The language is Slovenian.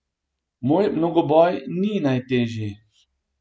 Moj mnogoboj ni najtežji.